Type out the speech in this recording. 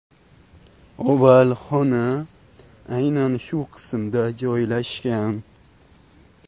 Oval xona aynan shu qismda joylashgan.